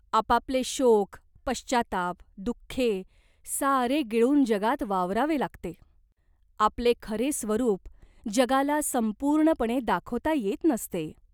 आपापले शोक, पश्चात्ताप, दुःखे सारे गिळून जगात वावरावे लागते. आपले खरे स्वरूप जगाला संपूर्णपणे दाखवता येत नसते.